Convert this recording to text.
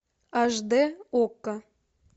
аш дэ окко